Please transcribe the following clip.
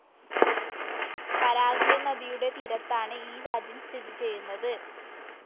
Paraguay നദിയുടെ തീരത്താണ് ഈ രാജ്യം സ്ഥിതി ചെയ്യുന്നത്.